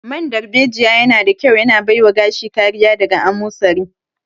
Man darbejiya yana da ƙyau yana baiwa gashi kariya daga amosari